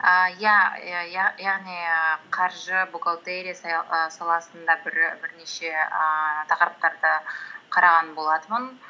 ііі иә яғни ііі қаржы бухгалтерия і саласында бірнеше ііі тақырыптарды қараған болатынмын